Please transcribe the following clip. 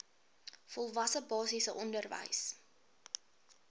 volwasse basiese onderwys